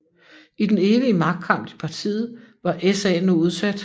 I den evige magtkamp i partiet var SA nu udsat